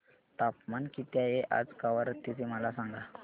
तापमान किती आहे आज कवारत्ती चे मला सांगा